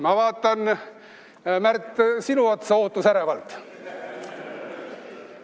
Ma vaatan, Märt, sinu otsa ootusärevalt.